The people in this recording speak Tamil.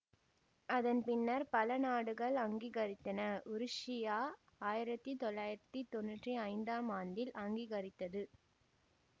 அதன் பின்னர் பல நாடுகள் அங்கீகரித்தன உருசியா ஆயிரத்தி தொள்ளாயிரத்தி தொன்னூற்தி ஐந்தாம் ஆண்டில் அங்கீகரித்தது